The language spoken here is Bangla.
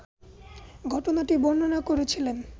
ঘটনাটি বর্ণনা করেছিলেন